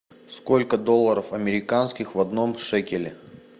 сколько долларов американских в одном шекеле